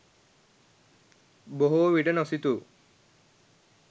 බොහෝ විට නොසිතූ